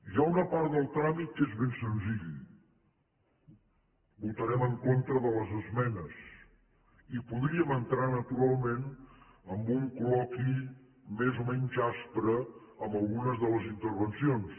hi ha una part del tràmit que és ben senzill votarem en contra de les esmenes i podríem entrar naturalment amb un col·loqui més o menys aspre en algunes de les intervencions